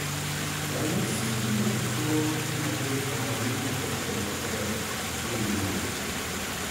Ranyisi mag tuo ma del ok ng'inj proten maber gin mage?